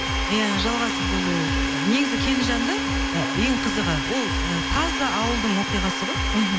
ия жалғасы болу негізі келінжанды ы ең қызығы ол ы таза ауылдың оқиғасы ғой мхм